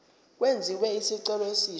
kwenziwe isicelo esisha